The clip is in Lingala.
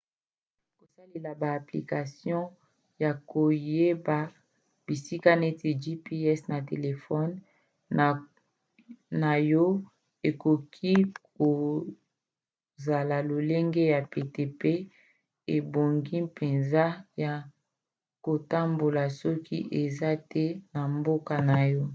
kosalela ba application ya koyeba bisika neti gps na telefone na yo ekoki kozala lolenge ya pete pe ebongi mpenza ya kotambola soki oza te na mboka na yo